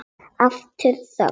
Aftur þögn.